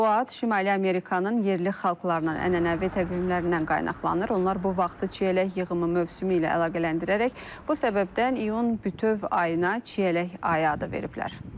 Bu ad Şimali Amerikanın yerli xalqlarının ənənəvi təqvimlərindən qaynaqlanır, onlar bu vaxtı çiyələk yığımı mövsümü ilə əlaqələndirərək bu səbəbdən iyun bütöv ayına çiyələk ayı adı veriblər.